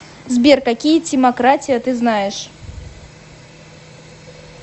сбер какие тимократия ты знаешь